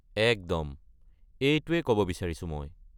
একদম এইটোৱে ক’ব বিচাৰিছোঁ মই।